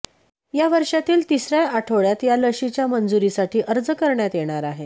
यावर्षातील तिसऱ्या आठवड्यात या लशीच्या मंजुरीसाठी अर्ज करण्यात येणार आहे